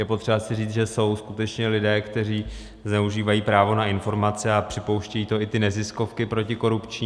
Je potřeba si říct, že jsou skutečně lidé, kteří zneužívají právo na informace, a připouštějí to i ty neziskovky protikorupční.